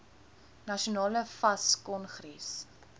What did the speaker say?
nasionale fas kongres